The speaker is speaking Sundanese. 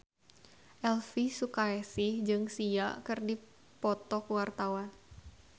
Elvy Sukaesih jeung Sia keur dipoto ku wartawan